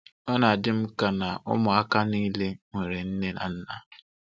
Ọ na-adị m ka na ụmụaka niile nwere nne na nna